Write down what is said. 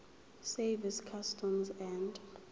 service customs and